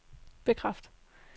bekræft